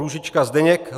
Růžička Zdeněk